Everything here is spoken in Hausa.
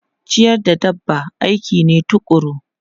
Ciyar da dabba aiki ne tukuru.